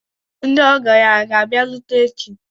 Ndị ọgọ ya hà ga-abịarute echi?